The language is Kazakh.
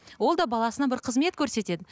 ол да баласына бір қызмет көрсетеді